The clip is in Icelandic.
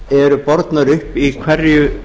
eru bornar upp í hverju